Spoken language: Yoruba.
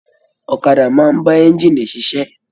Ọ̀kàdà máa n ba ẹ̀ngiini ṣiṣẹ